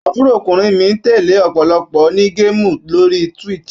Àbúròkùnrin mi ń tẹ̀lé ọ̀pọ̀lọpọ̀ onígéèmù lórí Twitch.